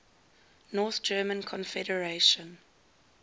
north german confederation